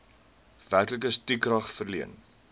werklike stukrag verleen